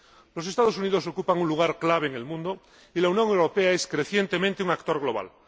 Los Estados Unidos ocupan un lugar clave en el mundo y la Unión Europea es crecientemente un actor global.